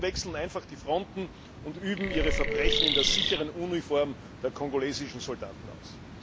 Rebellen wechseln einfach die Fronten und üben ihre Verbrechen in der sicheren Uniform der kongolesischen Soldaten aus.